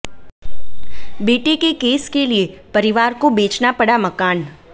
बेटे के केस के लिए परिवार को बेचना पड़ा मकान